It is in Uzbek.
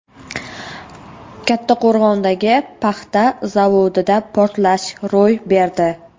Kattaqo‘rg‘ondagi paxta zavodida portlash ro‘y berdi.